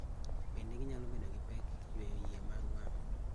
Bende ginyalo bedo gi pek yueyo yier mag wang'